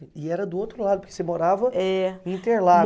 E era do outro lado, porque você morava. É. No Interlagos.